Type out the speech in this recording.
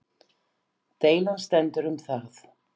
Deilan stendur um það